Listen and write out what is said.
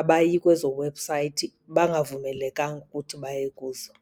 abayi kwezo website bangavumelekanga ukuthi baye kuzo.